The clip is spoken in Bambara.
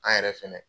An yɛrɛ fɛnɛ